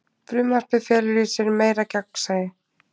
Frumvarpið felur í sér meira gagnsæi